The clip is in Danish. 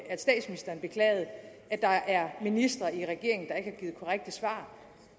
at statsministeren beklager at der er ministre i regeringen givet korrekte svar